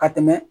Ka tɛmɛ